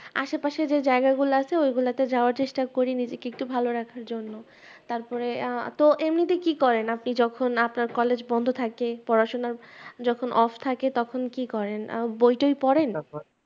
আসে পশে যে জায়গা গুলো আছে ওইগুলা তে যাওয়ার চেষ্টা করি নিজেকে একটু ভাল রাখার জন্য তারপরে আহ তো এমনিতে কি করেন যখন আপনার college বন্ধ থাকে পড়াশোনা যখন off থাকে তখন কি করেন আহ বই তই পড়েন